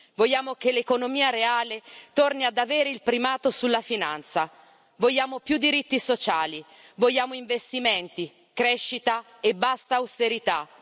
Vogliamo che l'economia reale torni ad avere il primato sulla finanza, vogliamo più diritti sociali, vogliamo investimenti, crescita e basta austerità!